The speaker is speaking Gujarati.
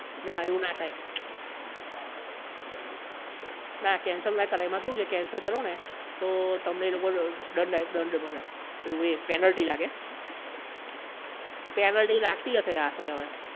ના એવું ના થાય ના cancel ના કરાય એમાં એવું છે કે cancel કરો ને તો તમને એ લોકો દંડ થાય દંડ ભરાય પેલું એ penality લાગે penality લાગતી હશે આશરે અવે